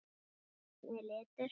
Grænn er litur.